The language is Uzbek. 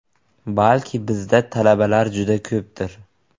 Balki bizda talabalar juda ko‘pdir?